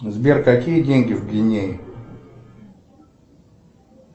сбер какие деньги в гвинее